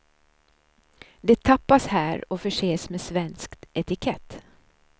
Det tappas här och förses med svensk etikett.